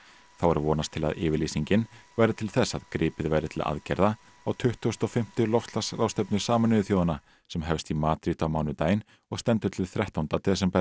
þá er vonast til að yfirlýsingin verði til þess að gripið verði til aðgerða á tuttugasta og fimmta loftslagsráðstefnu Sameinuðu þjóðanna sem hefst í Madríd á mánudaginn og stendur til þrettánda desember